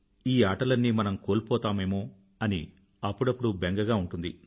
ఈ ఆటలన్నీ మనం కోల్పోతామేమో అని అప్పుడప్పుడు బెంగగా ఉంటుంది